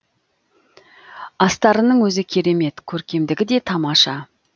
астарының өзі керемет көркемдігі де тамаша